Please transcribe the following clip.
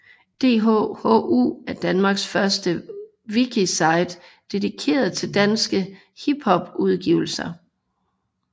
DHHU er danmarks første wikisite dedikeret til danske hiphop udgivelser